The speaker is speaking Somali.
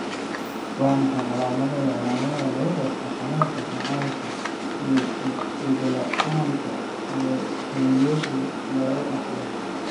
Waa maxay calaamadaha iyo calaamadaha lagu garto xanuunka macaanka iyo dhego la'aanta ee hooyadu laga dhaxlo?